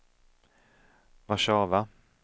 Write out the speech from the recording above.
Warszawa